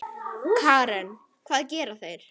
Karen: Hvað gera þeir?